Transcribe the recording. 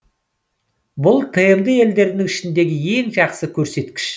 бұл тмд елдерінің ішіндегі ең жақсы көрсеткіш